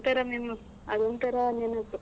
ಅದ್ ಒಂತರ ನೆ, ಅದ್ ಒಂತರಾ ನೆನಪು.